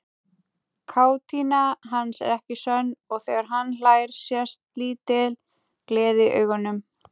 Kátína hans er ekki sönn og þegar hann hlær sést lítil gleði í augunum.